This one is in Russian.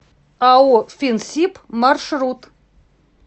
ао финсиб маршрут